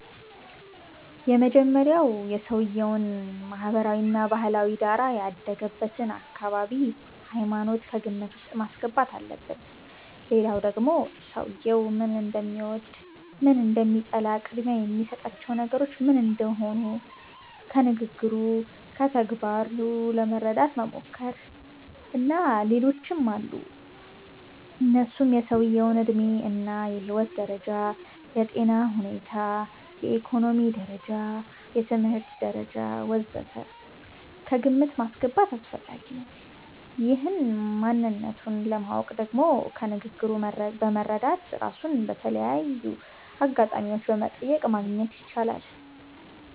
የመጀመሪያዉ የሰዉየዉን ማህበራዊ እና ባህላዊ ዳራ፣ ያደገበትን አካባቢ፣ ሃይማኖት ከግምት ዉስጥ ማስገባት አለብን ሌላዉ ደግሞ ሰዉየዉ ምን እንደሚወድ፣ ምን እንደሚጠላ፣ ቅድሚያ የሚሰጣቸው ነገሮች ምን እንደሆኑ ከንግግሩ፣ ከተግባሩ ለመረዳት መሞከር። እና ሌሎችም አሉ እነሱም የሰዉየዉ ዕድሜ እና የህይወት ደረጃ፣ የጤና ሁኔታ፣ የኢኮኖሚ ደረጃ፣ የትምህርት ደረጃ ወ.ዘ.ተ ከግምት ማስገባት አስፈላጊ ነዉ። ይህን ማንነቱን ለማወቅ ደግሞ ከንግግሩ በመረዳት፣ ራሱን በተለያዩ አጋጣሚዎች በመጠየቅ ማግኘት ይቻላል